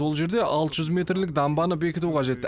ол жерде алты жүз метрлік дамбаны бекіту қажет